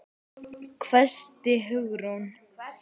hvæsti Hugrún.